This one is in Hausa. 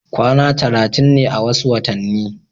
kwana talatin ne a wasu watanni